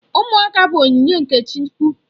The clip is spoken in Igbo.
Ụmụaka bụ onyinye nke Chukwu.